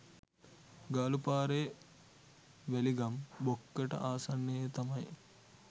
ගාලු පාරේ වැලිගම් බොක්කට ආසන්නයේ තමයි